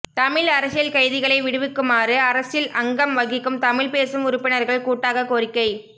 தமிழ் அரசியல் கைதிகளை விடுவிக்குமாறு அரசில் அங்கம் வகிக்கும் தமிழ் பேசும் உறுப்பினர்கள் கூட்டாகக் கோரிக்கை